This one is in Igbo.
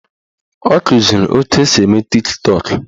Ọ kụziri etu esi eme Tiktọk